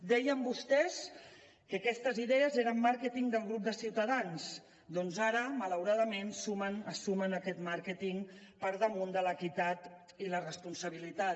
deien vostès que aquestes idees eren màrqueting del grup de ciutadans doncs ara malauradament es sumen a aquest màrqueting per damunt de l’equitat i la responsabilitat